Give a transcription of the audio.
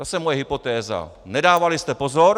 Zase moje hypotéza: Nedávali jste pozor!